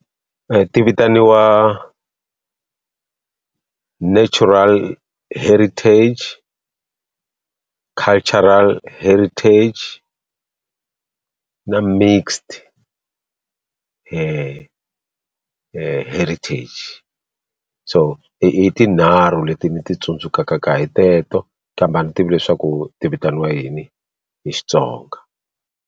Ti vitaniwa natural heritage cultural heritage na mixed he he heritage so i i tinharhu leti ni ti tsundzukaka hi teto kambe a ni tivi leswaku ti vitaniwa yini hi Xitsonga.